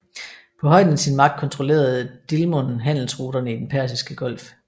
På højden af sin magt kontrollerede Dilmun handelsruterne i Den Persiske Golf